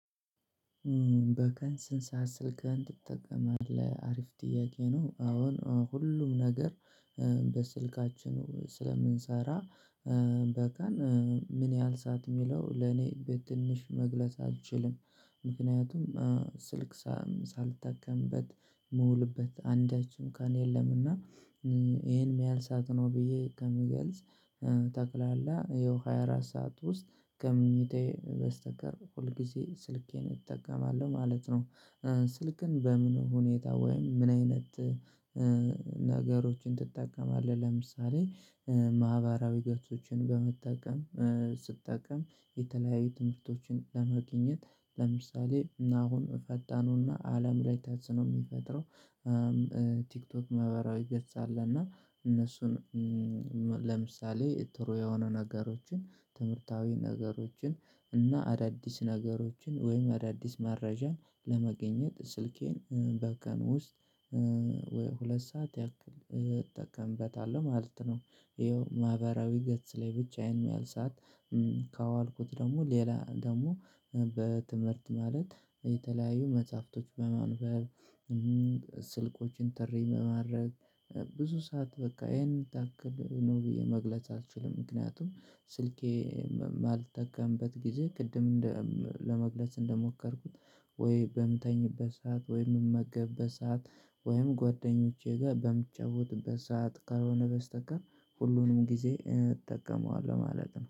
በቀን ስንት ሰዓት ስልክህን ትጠቀማለህ? አሪፍ ጥያቄ ነው አሁን ሁሉም ነገር በስልካችን ስለምንሰራ በቀን ምን ያህል ሰዓት የሚለው ለኔ በትንሽ መግለጽ አልችልም ምክንያቱም ስልክ ሳልጠቀምበት ምውልበት አንዳችም ቀን የለምና ይሄን የሚያሀል ሰዓት ነው ብዬ ከምገልጽ ተቅላላ ይኸው ሃያ አራት ሰዓት ውስጥ ከመኝታዬ በስተቀር ሁልጊዜ ስልኬን እጠቀማለሁ ማለት ነው። ስልክን በምን ሁኔታ ወይም ምን አይነት ነገሮችን ትጠቀማለህ? ለምሳሌ ማህበራዊ ገጾችን በመጠቀም ስጠቀም የተለያየ ትምህርቶችን ለማግኘት ለምሳሌ አሁን ፈጣኑና አለም ላይ ተጽኖ የሚፈጥረው ቲክቶክ ማህበራዊ ገጽ አለ እና እነሱን ለምሳሌ ጥሩ የሆኑ ነገሮችን ትምህርታዊ ነገሮችን እና አዳዲስ ነገሮችን ወይም አዳዲስ መረጃን ለመገኘት ስልኬን በቀን ውስጥ ወይ ሁለት ሰዓት ያክል እጠቀምበታለሁ ማለት ነው። ይኸው ማህበራዊ ገጽ ላይ ብቻ የሄን ያሀል ሰዓት ካዋልኩት ደግሞ ሌላ ደግሞ በትምህርት ማለት የተለያዩ መጽሐፍቶች በማንበብ ስልኮችን ጥሪ በማድረግ ብዙ ሰዓት በቃ ይሄን ታክል ነው ብዬ መግለጽ አልችልም። ምክንያቱም ስልኬ የማልጠቀምበት ጊዜ ቅድም ለመግለጽ እንደሞከርኩት ወይ በምተኝበት ሰዓት ወይ ምመገብበት ሰዓት ወይም ጓደኞቼ ጋር በምጫወትበት ሰዓት ከልሆነ በስተቀር ሁሉንም ጊዜ እጠቀመዋለሁ ማለት ነው